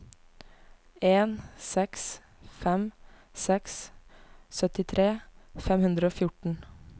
en seks fem seks syttifire fem hundre og fjorten